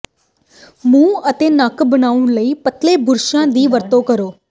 ਮੂੰਹ ਅਤੇ ਨੱਕ ਬਣਾਉਣ ਲਈ ਪਤਲੇ ਬੁਰਸ਼ਾਂ ਦੀ ਵਰਤੋਂ ਕਰੋ